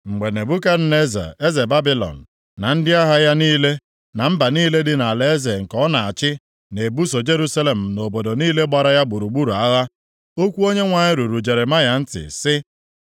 Mgbe Nebukadneza eze Babilọn na ndị agha ya niile, na mba niile dị nʼalaeze nke ọ na-achị na-ebuso Jerusalem na obodo niile gbara ya gburugburu agha, okwu Onyenwe anyị ruru Jeremaya ntị sị,